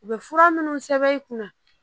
U bɛ fura minnu sɛbɛn i kunna